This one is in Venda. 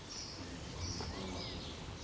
zwi tshi khou kwama u